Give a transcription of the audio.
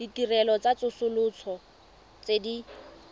ditirelo tsa tsosoloso tse di